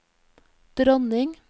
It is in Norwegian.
dronning